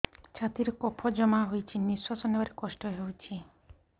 ଛାତିରେ କଫ ଜମା ହୋଇଛି ନିଶ୍ୱାସ ନେବାରେ କଷ୍ଟ ହେଉଛି